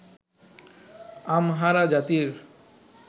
Amhara জাতির